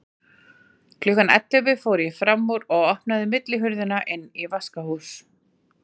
Klukkan ellefu fór ég fram úr og opnaði millihurðina inn í vaskahús.